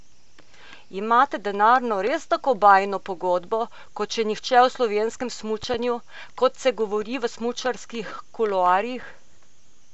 Imate denarno res tako bajno pogodbo, kot še nihče v slovenskem smučanju, kot se govori v smučarskih kuloarjih?